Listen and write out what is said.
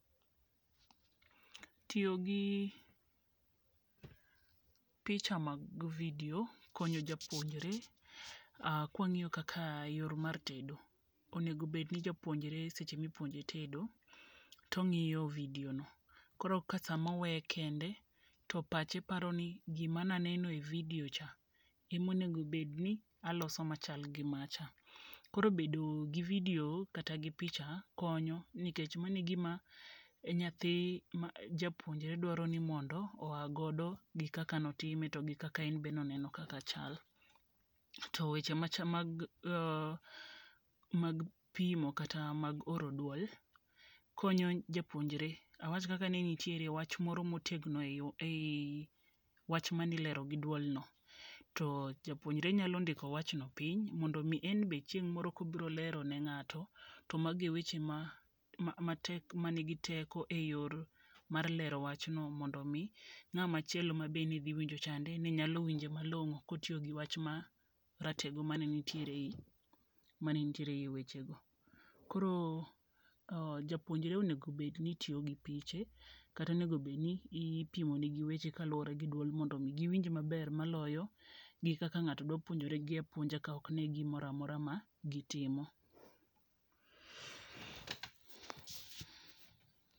Tiyo gi picha mag video konyo japuonjre kwa ng'iyo kaka yor mar tedo. Onego bed ni japouonjre seche mipuonje tedo tong'iyo video no. Koro ka samoweye kende to pache paro ni gima naneno e video cha emonego bed ni aloso machal gi macha. Koro bedo gi video kata gi picha konyo nikech mano gima nyathi ma japuonjre dwaro ni mondo oa godo gi kaka notime to gi kaka en be noneno kaka chal. To weche mag pimo kata kata mag oro duol konyo japuonjre. Awach kaka ni ne nitiere wach moro motegno e yi wach manilero gi duol no to japuonjre nyalo ndiko wach no piny mondo mi enbe chieng' moro kobilero ne ng'ato to magi e weche matek manigi teko e yor mar lero wach no mondo mi ng'ama chielo ma be ne dhi winjo chande ne nyalo winje malongo kotiyo gi wach ma ratego mane nitiere e yi weche go. Koro japuonjre onego bed ni tiyo gi piche kata onego bed ni ipimo negi weche kaluwore gi duol mondo mi giwinje maber maloyo gi kaka ng'ato dwa puonjore gi apuonja ka ok gine gimoro amora ma gitimo.